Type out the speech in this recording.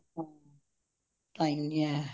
time ਨਹੀਂ ਹੈ